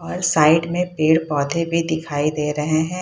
और साइड में पेड़-पौधे भी दिखाई दे रहे हैं।